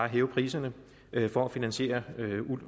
hæve priserne for at finansiere